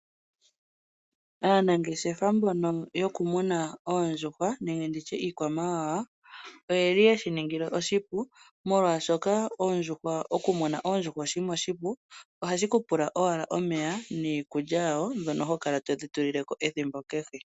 Aanangeshefa mbono yoku muna oondjuhwa nenge nditya iikwamawawa oyeli haye shi ningile oshipu oshinima, molwaashoka oondjuhwa nenge oku muna oondjuhwa oshinima oshipu ohashi ku pula owala omeya niikulya mbyoka hokala todhi tulile ko esiku kehe